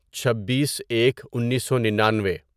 چھبیس ایک انیسو ننانوے